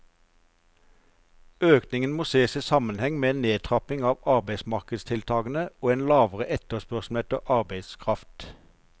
Økningen må ses i sammenheng med en nedtrapping av arbeidsmarkedstiltakene og en lavere etterspørsel etter arbeidskraft.